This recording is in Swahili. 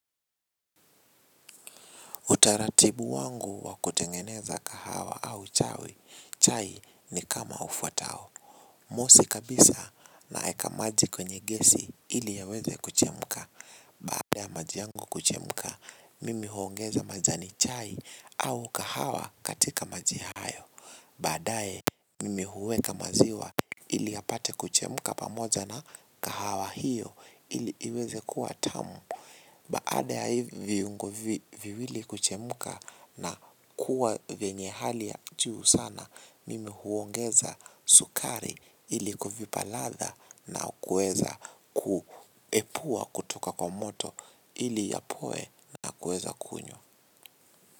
Utaratibu wangu wa kutengeneza kahawa au chai, chai ni kama ufuatao. Mosi kabisa naeka maji kwenye gesi ili yaweze kuchemuka. Baada ya maji yangu kuchemuka, mimi huongeza majani chai au kahawa katika maji hayo. Baadaye, mimi huweka maziwa ili yapate kuchemuka pamoja na kahawa hiyo ili iweze kuwa tamu. Baada ya hivyo viungo viwili kuchemuka na kuwa vyenye hali ya juu sana, mimi huongeza sukari ili kuvipa ladha na kuweza kuepua kutoka kwa moto ili yapoe na kuweza kunywa.